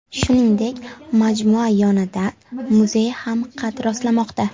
Shuningdek, majmua yonidan muzey ham qad rostlamoqda.